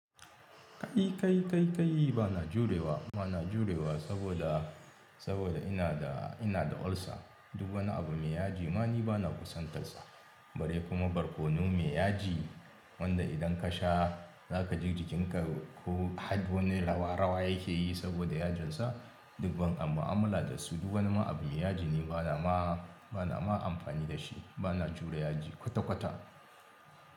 Kai, kai, kai, kai bana jurewa, bana jurewa saboda, saboda ina da, ina da ulcer. Duk wani abu mai yaji ma ni bana kusantarsa. Bare kuma barkono mai yaji wanda idan ka sha za ka ji jikin ka ko har wani rawa-rawa yake yi saboda yajinsa. Duk ban am mu'amala da su, duk wani ma abu mai yaji ni bana ma, bana ma amfani da shi. Bana jure yaji kwata-kwata.